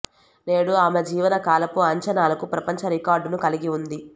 నేడు ఆమె జీవన కాలపు అంచనాలకు ప్రపంచ రికార్డును కలిగి ఉంది